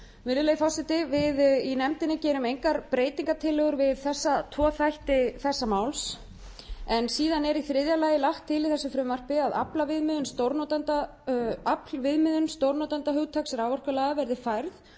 virðulegi forseti við í nefndinni gerum engar breytingartillögur við þessa tvo þætti þessa máls en síðan er í þriðja lagi lagt til í þessu frumvarpi að aflviðmiðun stórnotandahugtaks raforkulaga verði færð